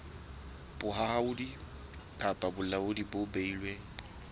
bohahlaudi kapa bolaodi bo beilweng